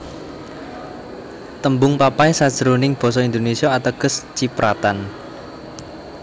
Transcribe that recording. Tembung papai sajroning basa Indonesia ateges cipratan